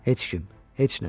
Heç kim, heç nə.